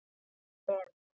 Af Lenu.